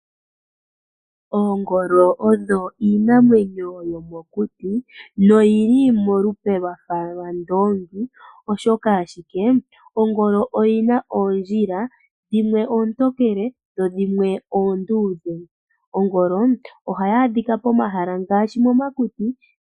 Oongolo odho iinamwenyo yomokuti, no yili molupe lwafa lwandoongi ,oshoka ashike Ongolo oyina oondjila, dhimwe oontokele dho dhimwe oondudhe. Ongolo ohayi adhika pomahala ngaashi momakuti.